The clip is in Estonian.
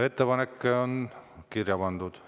Ettepanek on kirja pandud.